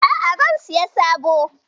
A'a, zan siyo sabo.